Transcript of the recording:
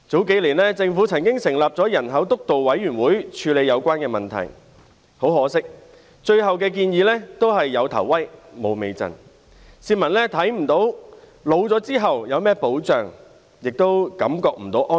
數年前，政府曾成立人口政策督導委員會處理有關問題，但很可惜，最後的建議卻是"有頭威，無尾陣"，市民看不到年老後有何保障，亦無法感到安心。